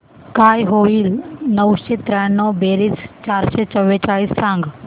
काय होईल नऊशे त्र्याण्णव बेरीज चारशे चव्वेचाळीस सांग